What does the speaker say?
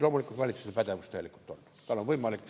Loomulikult on valitsusel täielikult pädevus, tal on see võimalik.